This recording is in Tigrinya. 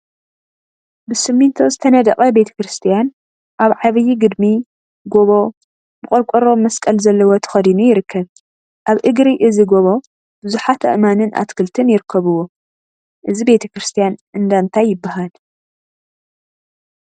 ብስሚንቶ ዝተነደቀ ቤተ ክርስትያን አብ ዓብይ ግድሚ/ጎቦ/ ብቆርቆሮ መስቀል ዘለዎ ተከዲኑ ይርከብ፡፡ አብ እግሪ እዚ ጎቦ ቡዙሓት አእማንን አትክልቲን ይርከቡዎ፡፡ እዚ ቤተ ክርስትያን እንዳ እንታይ ይበሃል?